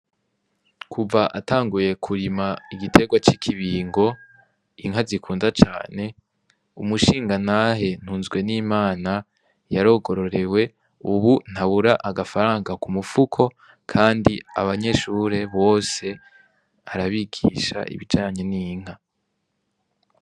Kuva atanguye kurima igitegwa ki kibingo inka zikunda cane umushinga ntahe ntunzwe nimana yarogororewe ubu ntabura agafaranga ku mufuko kandi abanyeshule bose arabigisha ibijyanye n'inka.